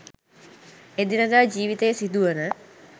එදිනෙදා ජීවිතයේ සිදුවන